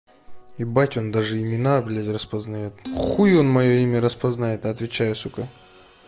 ебать он даже имена блять распознает хуй он моё имя распознает отвечаю сука